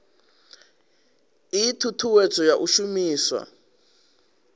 ii thuthuwedzo ya u shumiswa